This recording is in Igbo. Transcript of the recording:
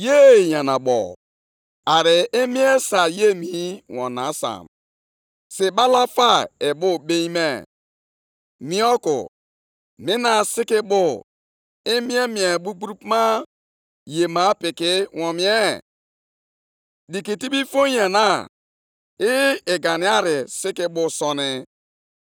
Onyenwe anyị anụla m ihe niile e kwuru banyere ude gị. Ịdị ukwuu nke ọrụ gị niile na-emekwa ka m dere duu nʼegwu nʼihu gị, Onyenwe anyị. Mekwaa ya ọzọ nʼoge nke anyị, mekwaa ka anụ akụkọ ya nʼọgbọ anyị. Nʼoke iwe gị chetakwa ebere.